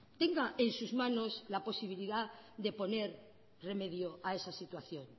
tenga en sus manos la posibilidad de poner remedio a esa situación